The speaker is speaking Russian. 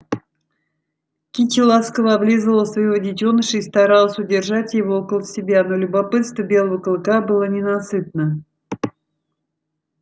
кити ласково облизывала своего детёныша и старалась удержать его около себя но любопытство белого клыка было ненасытно